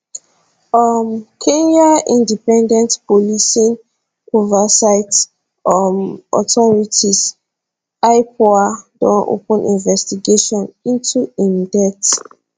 um kenya independent policing oversight um authority ipoa don open investigation into im death